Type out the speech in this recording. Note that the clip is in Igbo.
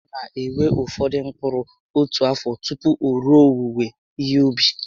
Ọ na ewe ụfọdụ mkpụrụ otu afọ tupu o rue owuwe ihe ubi